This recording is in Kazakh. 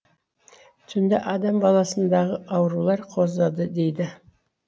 түнде адам баласындағы аурулар қозады дейді